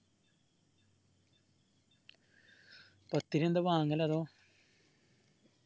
പത്തിരി എന്താ വാങ്ങലോ അതോ